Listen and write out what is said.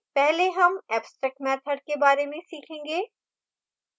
पहले हम abstract method के बारे में सीखेंगे